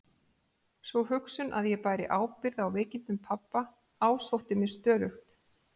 Sú hugsun að ég bæri ábyrgð á veikindum pabba ásótti mig stöðugt.